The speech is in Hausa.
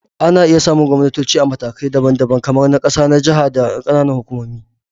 Ana iya samun gwamnatoci a matakai daban-daban, kamar na ƙasa, jaha, da ƙananan hukumomi